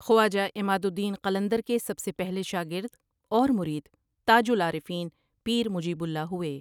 خواجہ عمادالدین قلندر کے سب سے پہلے شاگرد اور مرید تاج العارفین پیر مجیب اللہ ہوئے ۔